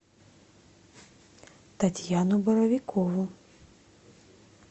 татьяну боровикову